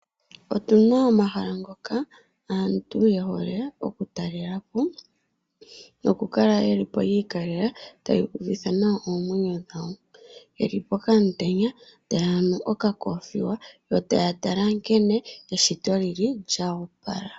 Opuna omahala ngoka aantu ye hole okutalela po nokukala yeli po yi ikalela tayu uvitha nawa omwenyo dhawo yeli pokamutenya taya nu okoothiwa yo taya tala nkene eshito lyili lyo opala.